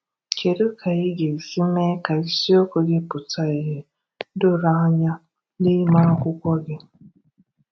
Kedu ka i ga-esi mee ka isiokwu gị pụta ìhè doro anya n’ime akwụkwọ gị?